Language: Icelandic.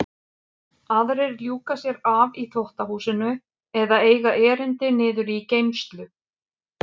Aðrir ljúka sér af í þvottahúsinu eða eiga erindi niður í geymslu.